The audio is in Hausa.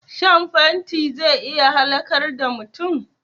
Shan fenti zai iya halakar da mutum